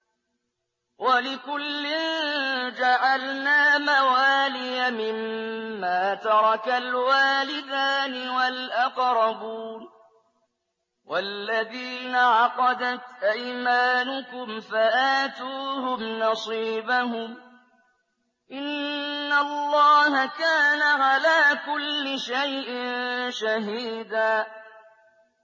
وَلِكُلٍّ جَعَلْنَا مَوَالِيَ مِمَّا تَرَكَ الْوَالِدَانِ وَالْأَقْرَبُونَ ۚ وَالَّذِينَ عَقَدَتْ أَيْمَانُكُمْ فَآتُوهُمْ نَصِيبَهُمْ ۚ إِنَّ اللَّهَ كَانَ عَلَىٰ كُلِّ شَيْءٍ شَهِيدًا